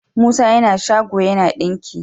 musa yAna shago yAna dinki